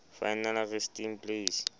final resting place